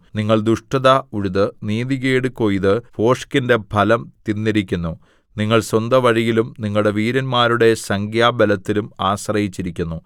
നിങ്ങൾ ദുഷ്ടത ഉഴുത് നീതികേട് കൊയ്ത് ഭോഷ്കിന്റെ ഫലം തിന്നിരിക്കുന്നു നിങ്ങൾ സ്വന്ത വഴിയിലും നിങ്ങളുടെ വീരന്മാരുടെ സംഖ്യാബലത്തിലും ആശ്രയിച്ചിരിക്കുന്നു